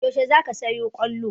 Yaushe za ka sayo kollon?